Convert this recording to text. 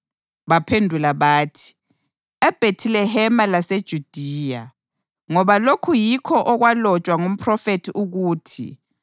Baphendula bathi, “EBhethilehema laseJudiya, ngoba lokhu yikho okwalotshwa ngumphrofethi ukuthi: